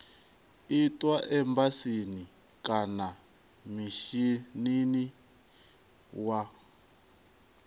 itwa embasini kana mishinini wa